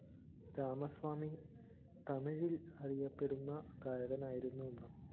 രാമസ്വാമി തമിഴില്‍ അറിയപ്പെടുന്ന ഗായകനായിരുന്നു അന്ന്